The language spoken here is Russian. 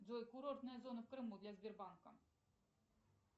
джой курортная зона в крыму для сбербанка